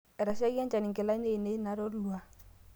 etashaikia enchan nkilani ainei natolua